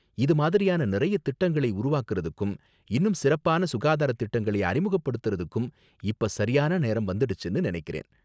இது மாதிரியான நிறைய திட்டங்களை உருவாக்குறதுக்கும், இன்னும் சிறப்பான சுகாதாரத் திட்டங்களை அறிமுகப்படுத்தறதுக்கும் இப்ப சரியான நேரம் வந்துடுச்சுன்னு நினைக்கிறேன்.